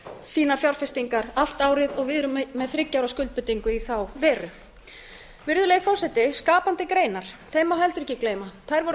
sínar fjárfestingar allt árið og við erum með þriggja ára skuldbindingu í þá veru virðulegi forseti skapandi greinar þeim má heldur ekki gleyma þær voru